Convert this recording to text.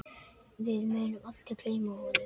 Við munum aldrei gleyma honum.